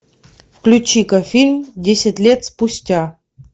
включи ка фильм десять лет спустя